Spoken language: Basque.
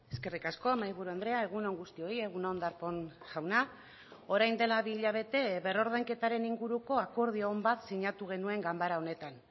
eskerrik asko mahaiburu andrea egun on guztioi egun on darpón jauna orain dela bi hilabete berrordainketaren inguruko akordio on bat sinatu genuen ganbara honetan